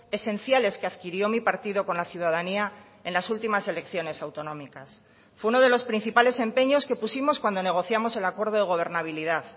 esenciales que adquirió mi partido con la ciudadanía en las últimas elecciones autonómicas fue uno de los principales empeños que pusimos cuando negociamos el acuerdo de gobernabilidad